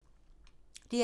DR2